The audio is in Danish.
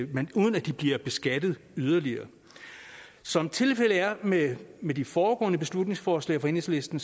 men uden at de bliver beskattet yderligere som tilfældet er med med de foregående beslutningsforslag fra enhedslisten